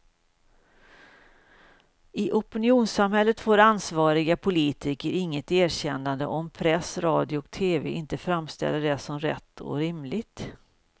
I opinionssamhället får ansvariga politiker inget erkännande om press, radio och tv inte framställer det som rätt och rimligt.